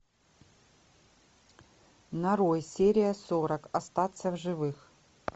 нарой серия сорок остаться в живых